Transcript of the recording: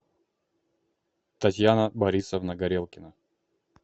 татьяна борисовна горелкина